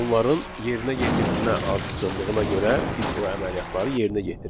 Onların yerinə yetirmə ardıcıllığına görə biz o əməliyyatları yerinə yetiririk.